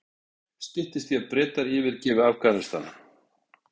Styttist í að Bretar yfirgefi Afghanistan